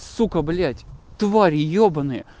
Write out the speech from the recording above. сука блять твари ебанные